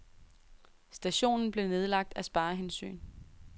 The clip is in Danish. Stationen blev nedlagt af sparehensyn.